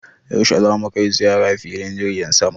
Yaushe za mu kai ziyara filin jirgin sama?